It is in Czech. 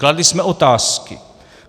Kladli jsme otázky.